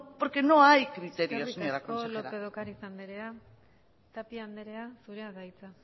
porque no hay criterios eskerrik asko lópez de ocariz anderea tapia anderea zurea da hitza